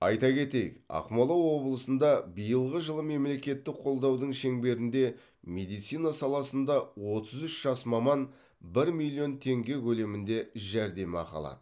айта кетейік ақмола облысында биылғы жылы мемлекеттік қолдаудың шеңберінде медицина саласында отыз үш жас маман бір миллион теңге көлемінде жәрдемақы алады